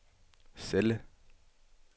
celle